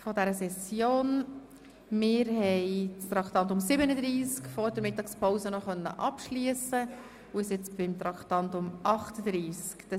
Traktandum 37 konnten wir noch vor der Mittagspause abschliessen und kommen nun zu Traktandum 38.